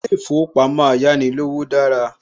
Ilé ìfowópamọ́ Ayánilówó dára